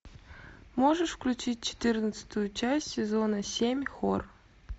можешь включить четырнадцатую часть сезона семь хор